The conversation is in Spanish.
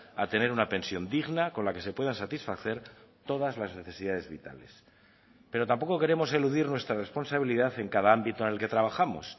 a tener una pensión digna con la que se puedan satisfacer todas las necesidades vitales pero tampoco queremos eludir nuestra responsabilidad en cada ámbito en el que trabajamos